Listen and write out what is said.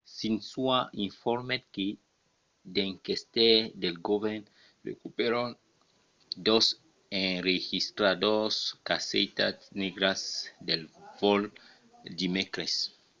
xinhua informèt que d’enquestaires del govèrn recuperèron dos enregistradors 'caissetas negras' de vòl dimècres